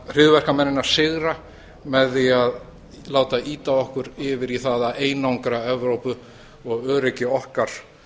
hryðjuverkamennina sigra með því að láta ýta okkur yfir í það að einangra evrópu og öryggi okkar